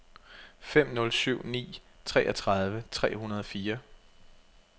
fem nul syv ni treogtredive tre hundrede og fire